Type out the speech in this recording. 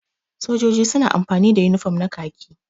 Sojoji suna amfani da unifam na kaki.